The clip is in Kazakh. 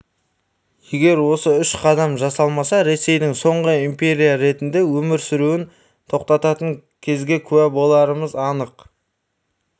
егер осы үш қадам жасалмаса ресейдің соңғы империя ретінде өмір сүруін тоқтататын кезге куә боларымыз анық